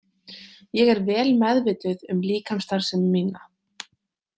Ég er vel meðvituð um líkamsstarfsemi mína.